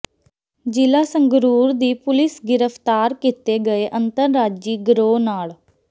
ਜ਼ਿਲਾ ਸੰਗਰੂਰ ਦੀ ਪੁਲੀਸ ਗ੍ਰਿਫਤਾਰ ਕੀਤੇ ਗਏ ਅੰਤਰਰਾਜੀ ਗਰੋਹ ਨਾਲ